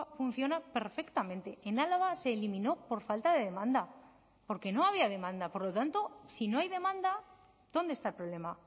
funciona perfectamente en álava se eliminó por falta de demanda porque no había demanda por lo tanto si no hay demanda dónde está el problema